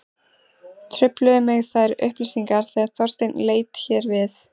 Trufluðu mig þær upplýsingar þegar Þorsteinn leit hér við.